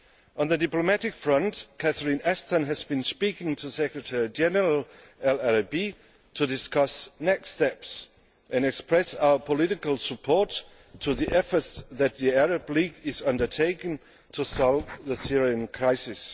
On the diplomatic front, Catherine Ashton has been speaking to Secretary General El Arabi to discuss next steps and express our political support for the efforts that the Arab League is undertaking to solve the Syrian crisis.